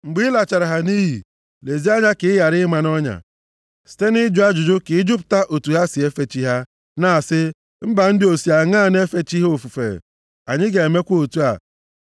Mgbe ị lachara ha nʼiyi, lezie anya ka ị ghara ịma nʼọnya, site nʼịjụ ajụjụ ka ịjụpụta otu ha si efe chi ha, na-asị, “Mba ndị a o si aṅaa na-efe chi ha ofufe? Anyị ga-emekwa otu a.”